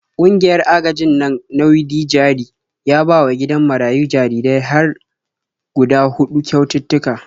Ƙungiyar agajin nan na Widi-jari ya bawa gidan marayun jarirai har hguda huɗu kyaututtuka.